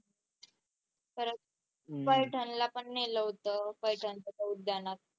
खरंच पैठणला पण नेलं होतं पैठणच्या त्या उद्यानात